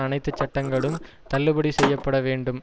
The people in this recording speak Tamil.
அனைத்துச் சட்டங்களும் தள்ளுபடி செய்ய பட வேண்டும்